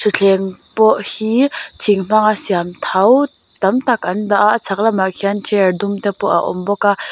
thuthleng pawh hi thing hmanga siam tho tam tak an dah a a chhak lamah khian chair dumte pawh a awm bawk a.